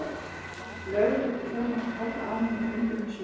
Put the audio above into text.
Lögregluþjónarnir horfðu á mig með undrunarsvip.